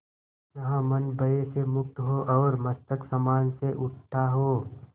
जहाँ मन भय से मुक्त हो और मस्तक सम्मान से उठा हो